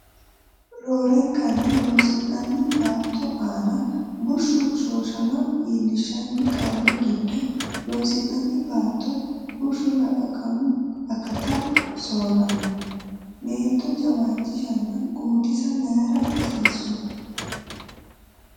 Roorenkanni loosi’nanni baatto aana bushshu hoshooshama iillishshan qarri giddo loosi’nanni baatto bushshi lalaqamu akata soorranno, Meento jawaachishanna guutisa mayira hasiissu?